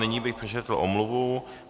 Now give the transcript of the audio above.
Nyní bych přečetl omluvu.